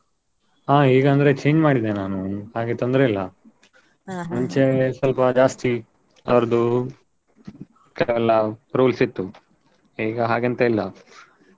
ಹಾ ಈಗ ಅಂದ್ರೆ change ಮಾಡಿದೆ ನಾನು ಹಾಗೆ ತೊಂದ್ರೆ ಇಲ್ಲಾ. ಸ್ವಲ್ಪ ಜಾಸ್ತಿ ಅವರ್ದು ಈ ಕೆಲವೆಲ್ಲ rules ಇತ್ತು ಈಗ ಹಾಗೆ ಎಂತ ಇಲ್ಲ.